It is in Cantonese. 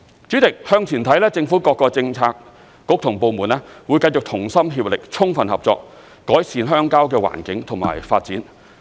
主席，向前看，政府各個政策局和部門會繼續同心協力，充分合作，改善鄉郊的環境和發展。